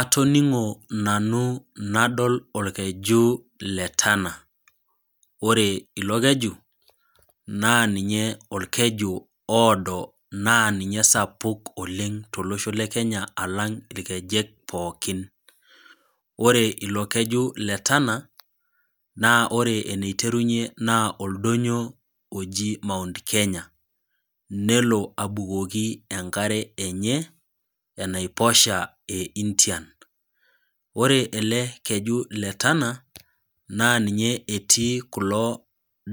Atoningo nanu nadol orkeju letana ore ilokeju naa ninye orkeju ooo naa ninye osapuk oleng tolosho lekenya alang irkejek pookin .Ore ilokeju letana naa ore eniterunyie naa oldonyio oji mount kenya nelo abukoki enkare enye enaiposha eIndian . Ore elekeju letana naa ninye etii kulo